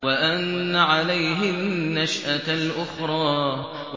وَأَنَّ عَلَيْهِ النَّشْأَةَ الْأُخْرَىٰ